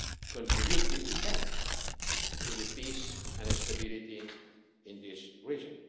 to contribute, if we can, to the peace and stability of this region.